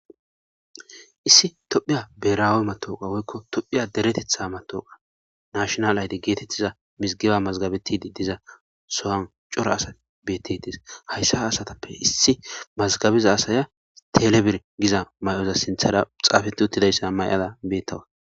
issi toophphiya biirawe mattwuqqa woykko toophphiya dereteeththa mattowuqqa nashshoinale ayde geetettiza misggiba mazigabetiidi diza so'an cora asati betetees hayssa ha asstappe issi mazigabiza asaya telebiire giza may'oza sinththara xaafeti uttidayssa may'ada bettawus